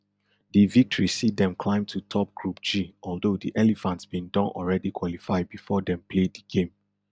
di victory see dem climb to top group g although di elephants bin don already qualify bifor dem play di game